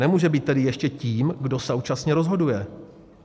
Nemůže být tedy ještě tím, kdo současně rozhoduje.